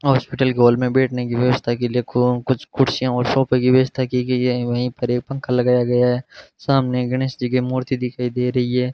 Hospital के hall मे बैठने के लिए व्यवस्था की लिए कुछ कुर्सियां और सोफा की व्यवस्था की गयी है वपे एक पंखा लगाया गया है सामने गणेशजी की मूर्ति दिखाई दे रही है।